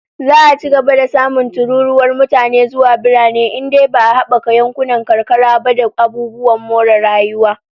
Za'a ci gaba da samun tururuwar mutane zuwa birane in dai ba'a habaka yankunan karkara ba da abubuwan more rayuwa